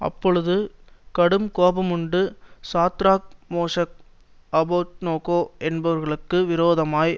அப்பொழுது கடுங்கோபமூண்டு Shadrach Meshach Abednego என்பவர்களுக்கு விரோதமாய்